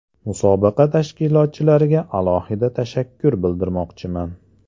Musobaqa tashkilotchilariga alohida tashakkur bildirmoqchiman.